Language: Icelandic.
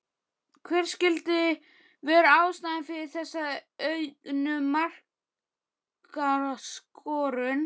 Hver skyldi vera ástæðan fyrir þessari auknu markaskorun?